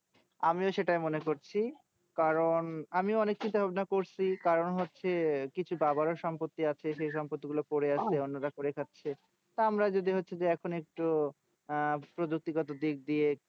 আমিও সেটাই মনে করছি কারণ আমিও অনেক চিন্তা ভাবনা করছি কারণ হচ্ছে কিছু দাদারও সম্পত্তি আছে সেই সম্পত্তি গুলো পড়ে আছে অন্য রা করে খাচ্ছে তা আমরাও যদি হচ্ছে যে এখন একটু ভাবছি এখন একটু আহ প্রযুক্তিগত দিয়ে